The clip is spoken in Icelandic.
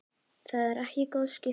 Það eru ekki góð skipti.